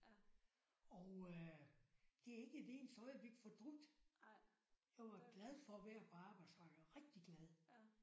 Og øh det har jeg ikke et eneste øjeblik fortrudt. Jeg var glad for at være på arbejdsmarkedet rigtig glad